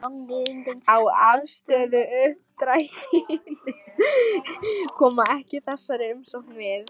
á afstöðuuppdrættinum, koma ekki þessari umsókn við.